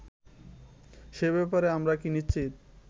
সে ব্যাপারে আমরা কি নিশ্চিত